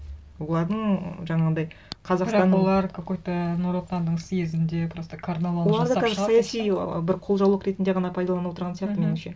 олардың жаңағындай қазақстанның бірақ олар какой то нұр отанның съезінде просто карнавал жасап шығады оларды қазір саяси бір қолжаулық ретінде ғана пайдаланып отырған сияқты меніңше